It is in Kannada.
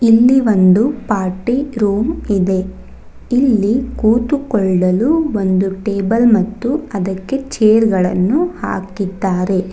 ಇಲ್ಲಿ ಒಂದು ಪಾರ್ಟಿ ರೂಮ್ ಇದೆ ಇಲ್ಲಿ ಕೂತುಕೊಳ್ಳಲು ಒಂದು ಟೇಬಲ್ ಮತ್ತು ಅದಕ್ಕೆ ಚೇರ್ ಗಳನ್ನು ಹಾಕಿದ್ದಾರೆ.